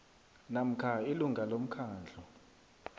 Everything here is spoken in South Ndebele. namkha ilunga lomkhandlu